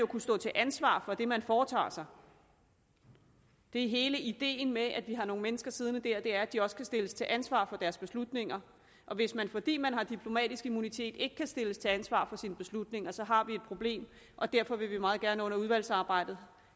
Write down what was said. kunne stå til ansvar for det man foretager sig det er hele ideen med at vi har nogle mennesker siddende der at de også kan stilles til ansvar for deres beslutninger hvis man fordi man har diplomatisk immunitet ikke kan stilles til ansvar for sine beslutninger så har vi et problem og derfor vil vi meget gerne under udvalgsarbejdet